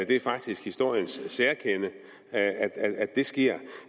det er faktisk historiens særkende